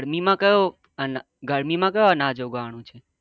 ગરમી માં કયો અન ગરમી માં કયો અનાજ ઉગાવવાનું છે?